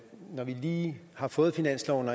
når vi lige har fået finansloven